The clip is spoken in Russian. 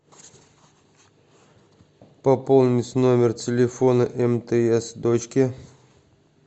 пополнить номер телефона мтс дочке